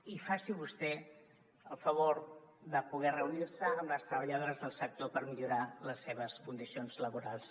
i faci vostè el favor de poder reunir·se amb les treballadores del sector per mi·llorar les seves condicions laborals